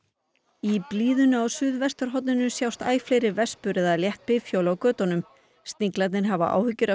í blíðunni á suðvesturhorninu sjást æ fleiri vespur eða létt bifhjól á götunum sniglarnir hafa áhyggjur af